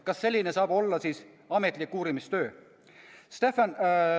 Kas selline saab olla siis ametlik uurimistöö?